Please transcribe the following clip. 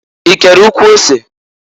I kere ụkwụ ose?